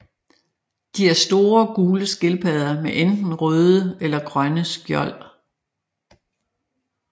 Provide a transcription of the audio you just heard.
De er store gule skildpadder med enten røde eller grønne skjold